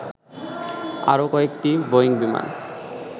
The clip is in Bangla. আরও কয়েকটি বোয়িং বিমান